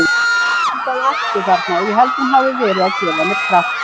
Mig vantaði orku þarna og ég held að hún hafi verið að gefa mér kraft.